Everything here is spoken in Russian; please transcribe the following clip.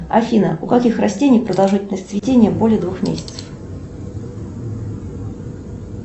афина у каких растений продолжительность цветения более двух месяцев